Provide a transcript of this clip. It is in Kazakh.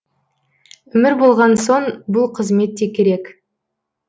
өмір болған соң бұл қызмет те керек